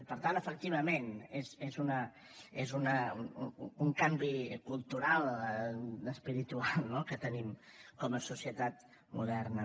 per tant efectivament és un canvi cultural espiritual no que tenim com a societat moderna